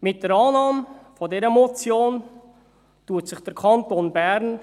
Mit der Annahme dieser Motion nähert sich der Kanton Bern